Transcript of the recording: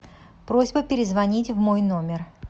просьба перезвонить в мой номер